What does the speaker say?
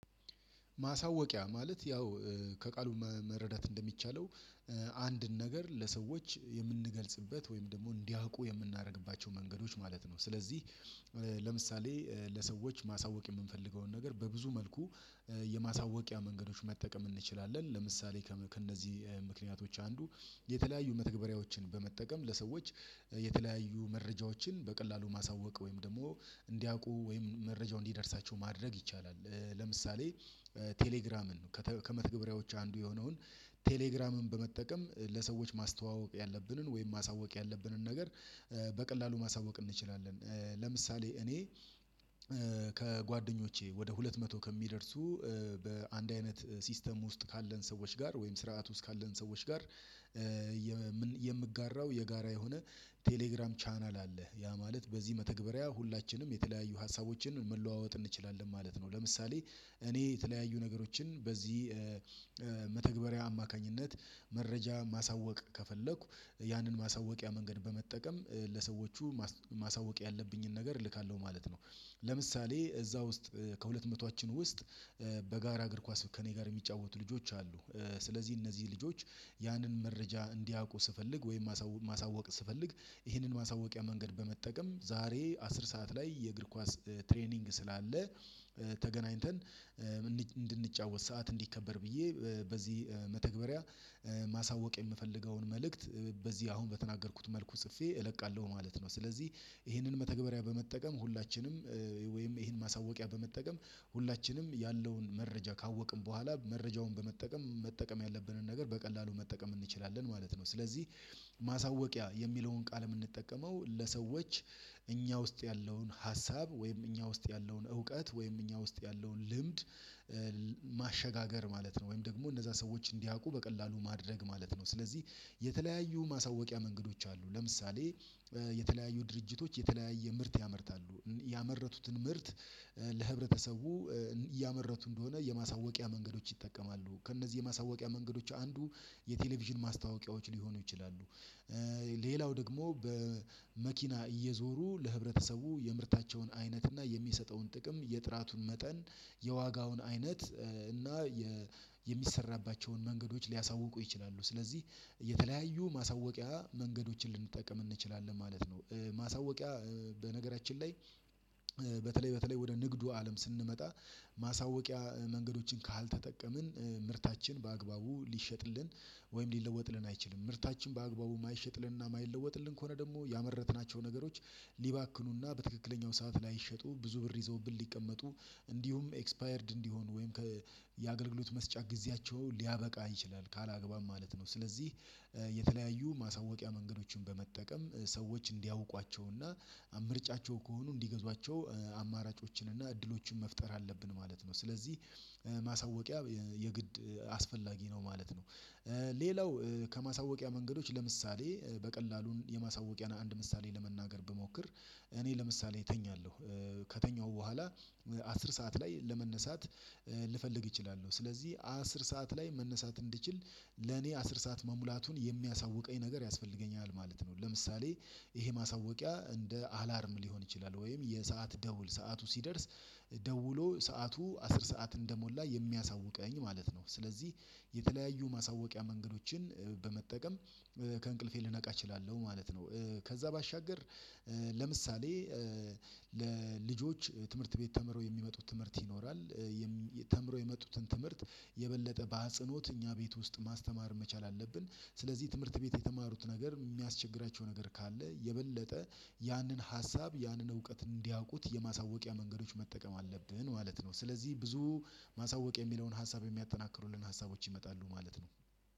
ማሳወቂያ ማለት ያው ከቃሉ መረዳት እንደሚቻለው አንድን ነገር ለሰዎች የምንገልጽበት ወይም ደግሞ እንዲያውቁ የምናደርግባቸው መንገዶች ማለት ነው። ስለዚህ ለምሳሌ ለሰዎች ማሳወቅ የምንፈልገውን ነገር በብዙ መልኩ የማሳወቂያ መንገዶች መጠቀም እንችላለን። ለምሳሌ ከእነዚህ ምክንያቶች አንዱ የተለያዩ መተግበሪያዎችን በመጠቀም ለሰዎች የተለያዩ መረጃዎችን በቀላሉ ማሳወቅ ወይም ደግሞ እንዲያውቁ ወይም መረጃው እንዲደርሳቸው ማድረግ ይቻላል። ለምሳሌ ቴሌግራምን ከመትገብሪያዎች አንዱ የሆነውን ቴሌግራምን በመጠቀም ለሰዎች ማስተዋወቅ ያለብንን ወይም ማሳወቅ ያለብንን ነገር በቀላሉ ማሳወቅ እንችላለን። ለምሳሌ እኔ ከጓደኞቼ ወደ ሁለት መቶ ከሚደርሱ በአንድ አይነት ሲስተም ውስጥ ካለን ሰዎች ጋር ወይም ስርዓት ውስጥ ካለን ሰዎች ጋር የምጋራው የጋራ የሆነ ቴሌግራም ቻናል አለ ያ ማለት በዚህ መተግበሪያ ሁላችንም የተለያዩ ሀሳቦችን መለዋወጥ እንችላለን ማለት ነው። ለምሳሌ እኔ የተለያዩ ነገሮችን በዚህ መተግበሪያ አማካኝነት መረጃ ማሳወቅ ከፈለኩ ያንን ማሳወቂያ መንገድ በመጠቀም ለሰዎቹ ማሳወቅ ያለብኝን ነገር እልካለሁ ማለት ነው። ለምሳሌ እዛ ውስጥ ከሁለት መቶዎቻችን ውስጥ በጋራ እግር ኳስ ከእኔ ጋር የሚጫወቱ ልጆች አሉ። ስለዚህ እነዚህ ልጆች ያንን መረጃ እንዲያውቁ ስፈልግ ወይም ማሳወቅ ስፈልግ ይህንን ማሳወቂያ መንገድ በመጠቀም ዛሬ አስር ሰዓት ላይ የእግር ኳስ ትሬኒንግ ስላለ ተገናኝተን እንድንጫወት ሰዓት እንዲከበር ብዬ በዚህ መተግበሪያ ማሳወቅ የምፈልገውን መልእክት በዚህ አሁን በተናገርኩት መልኩ ጽፌ እለቃለሁ ማለት ነው። ስለዚህ ይሄንን መተግበሪያ በመጠቀም ሁላችንም ወይም ይሄን ማሳወቂያ በመጠቀም ሁላችንም ያለውን መረጃ ካወቅን በኋላ መረጃውን በመጠቀም መጠቀም ያለብንን ነገር በቀላሉ መጠቀም እንችላለን ማለት ነው። ስለዚህ ማሳወቂያ የሚለውን ቃል የምንጠቀመው ለሰዎች እኛ ውስጥ ያለውን ሀሳብ ወይም እኛ ውስጥ ያለውን እውቀት ወይም እኛ ውስጥ ያለውን ልምድ ማሸጋገር ማለት ነው። ወይም ደግሞ እነዛ ሰዎች እንዲያውቁ በቀላሉ ማድረግ ማለት ነው። ስለዚህ የተለያዩ ማሳወቂያ መንገዶች አሉ። ለምሳሌ የተለያዩ ድርጅቶች የተለያየ ምርት ያመርታሉ ያመረቱትን ምርት ለህብረተሰቡ እያመረቱ እንደሆነ የማሳወቂያ መንገዶች ይጠቀማሉ ከእነዚህ የማሳወቂያ መንገዶች አንዱ የቴሌቪዥን ማስታወቂያዎች ሊሆኑ ይችላሉ። ሌላው ደግሞ በመኪና እየዞሩ ለህብረተሰቡ የምርታቸውን አይነት እና የሚሰጠውን ጥቅም የጥራቱን መጠን የዋጋውን አይነት እና የሚሰራባቸውን መንገዶች ሊያሳውቁ ይችላሉ። ስለዚህ የተለያዩ ማሳወቂያ መንገዶችን ልንጠቀም እንችላለን ማለት ነው። ማሳወቂያ በነገራችን ላይ በተለይ በተለይ ወደ ንግዱ አለም ስንመጣ ማሳወቂያ መንገዶችን ካልተጠቀምን ምርታችን በአግባቡ ሊሸጥልን ወይም ሊለወጥልን አይችልም። ምርታችን በአግባቡ የማይሸጥልንና የማይለወጥልን ከሆነ ደግሞ ያመረትናቸው ነገሮች ሊባክኑና በትክክለኛው ሰዓት ላይ ላይሸጡ ብዙ ብር ይዘውብን ሊቀመጡ እንዲሁም ኤክስፓየርድ እንዲሆኑ ወይም ከየአገልግሎት መስጫ ጊዜያቸው ሊያበቃ ይችላል ካላግባባብ ማለት ነው። ስለዚህ የተለያዩ ማሳወቂያ መንገዶችን በመጠቀም ሰዎች እንዲያውቋቸውና ምርጫቸው ከሆኑ እንዲገዟቸው አማራጮችንና እድሎችን መፍጠር አለብን ማለት ነው። ስለዚህ ማሳወቂያ የግድ አስፈላጊ ነው ማለት ነው። ሌላው ከማሳወቂያ መንገዶች ለምሳሌ በቀላሉን የማሳወቂያን አንድ ምሳሌ ለመናገር ብሞክር እኔ ለምሳሌ እተኛለሁ ከተኛሁ በኋላ አስር ሰዓት ላይ ለመነሳት ልፈልግ እችላለሁ ስለዚህ አስር ሰዓት ላይ መነሳት እንድችል ለኔ አስር ሰዓት መሙላቱን የሚያሳውቀኝ ነገር ያስፈልገኛል ማለት ነው። ለምሳሌ ይሄ ማሳወቂያ እንደ አላርም ሊሆን ይችላል ወይም የሰዓት ደውል ሰዓቱ ሲደርስ ደውሎ ሰዓቱ አስር ሰዓት እንደሞላ የሚያሳውቀኝ ማለት ነው። ስለዚህ የተለያዩ ማሳወቂያ መንገዶችን በመጠቀም ከእንቅልፌ ልነቃ እችላለሁ ማለት ነው። ከዛ ባሻገር ለምሳሌ ለልጆች ትምህርት ቤት ተምረው የሚመጡት ትምህርት ይኖራል። ተምረው የሚመጡትን የበለጠ በአጽኖት እኛ ቤት ውስጥ ማስተማር መቻል አለብን። ስለዚህ ትምህርት ቤት የተማሩት ነገር የሚያስቸግራቸው ነገር ካለ የበለጠ ያንን ሀሳብ ያንን እውቀት እንዲያውቁት የማሳወቂያ መንገዶች መጠቀም አለብህን ማለት ነው። ስለዚህ ብዙ ማሳወቅ የሚለውን ሀሳብ የሚያጠናክሩልን ሀሳቦች ይመጣሉ ማለት ነው።